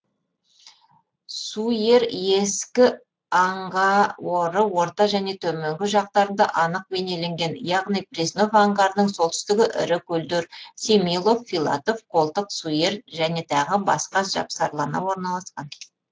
суер ескі аңғаоры орта және төменгі жақтарында анық бейнеленген яғни преснов аңғарының солтүстігі ірі көлдер семилов филатов қолтық суер және тағы басқа жапсарлана орналасқан